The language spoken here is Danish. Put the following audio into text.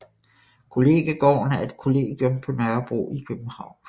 Kollegiegården er et kollegium på Nørrebro i København